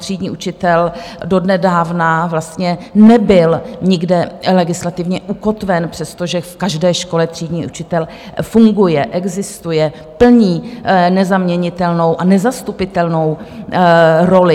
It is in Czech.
Třídní učitel donedávna vlastně nebyl nikde legislativně ukotven, přestože v každé škole třídní učitel funguje, existuje, plní nezaměnitelnou a nezastupitelnou roli.